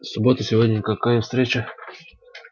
суббота сегодня какая встреча